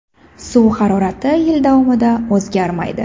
Suv harorati yil davomida o‘zgarmaydi.